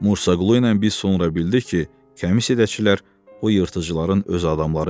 Mursa Qulu ilə biz sonra bildik ki, kəmissiyaçılar o yırtıcıların öz adamları imiş.